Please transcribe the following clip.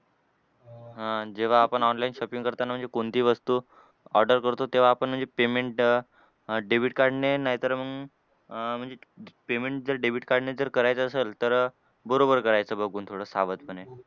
हां आणि जेव्हा आपण online shopping करताना म्हणजे कोणती वस्तू order करतो तेव्हा आपण म्हणजे payment debit card ने नाहीतर मग अह म्हणजे payment जर debit card ने जर करायचं असल तर बरोबर करायचं बघून थोडं सावधपणे.